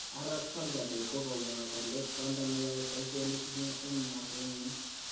Arap Salvador ko kamwa kole kwanda neyae paishonik nia en lagwenyin